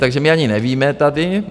Takže my ani nevíme tady...